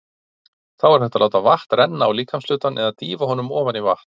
Þá er hægt að láta vatn renna á líkamshlutann eða dýfa honum ofan í vatn.